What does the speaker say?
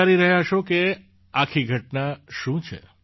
તમે વિચારી રહ્યા હશો કે આખી ઘટના છે શું